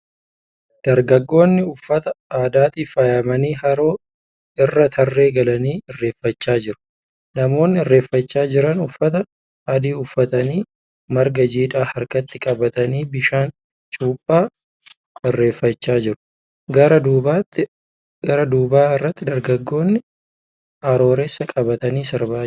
Dargaggoonni uffata aadaatiin faayamanii haroo irra tarree galanii irreeffachaa jiru. Namoonni irreeffachaa jiran uffata adii uffatanii marga jiidhaa harkatti qabatanii bishaan cuuphaa irreeffachaa jiru. Gara duuba irratti dargaggoonni arooressa qabatanii sirbaa jiru.